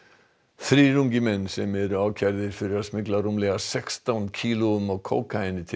þrír ungir menn sem eru ákærðir fyrir að smygla rúmlega sextán kílóum af kókaíni til